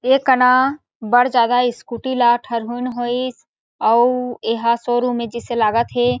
एक अना बड़ ज्यादा स्कूटी ला ठरहुन होइस अउ एहा शोरूम हे जइसे लागत हे।